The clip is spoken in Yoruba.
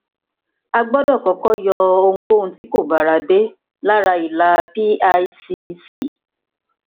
a gbọdọ kọkọ yọ ohunkóun tí kò báradé lára ìlà picc